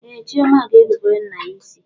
Ee, Chioma ga-erubere nna ya isi.